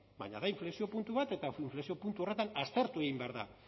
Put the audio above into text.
baina da inflexio puntu bat eta inflexio puntu horretan aztertu egin behar da